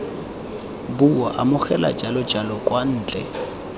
bua amogela jalojalo kwa ntle